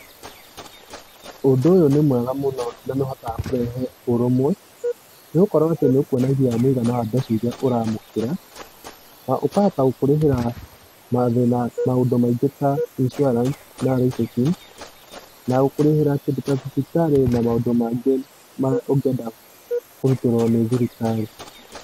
Ũndũ ũyũ nĩ mwega mũno na nĩ ũhotaga kũrehe ũrũmwe, nĩ gũkorũo atĩ nĩ ũkwonagia mũigana wa mbeca iria ũraamũkĩra, na ũkahota gũkũrĩhĩra mathĩĩna maũndũ maingĩ ta isurance, na na gũkũrĩhĩra kĩndũ ta thibitarĩ na maũndũ mangĩ ma ũngĩenda kũrutĩrwo nĩ thirikari.